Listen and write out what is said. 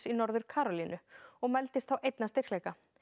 í Norður Karólínu og mældist þá einn að styrkleika